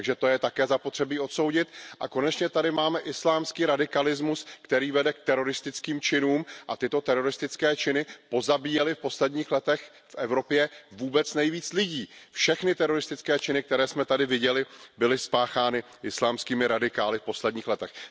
Takže to je také zapotřebí odsoudit a konečně tady máme islámský radikalismus, který vede k teroristickým činům, a tyto teroristické činy pozabíjely v posledních letech v Evropě vůbec nejvíc lidí. Všechny teroristické činy, které jsme tady viděli, byly spáchány islámskými radikály v posledních letech.